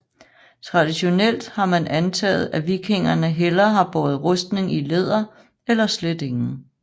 Traditionelt har man antaget at vikingerne hellere har båret rustning i læder eller slet ingen